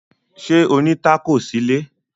Ṣé ó ní tákò sílé?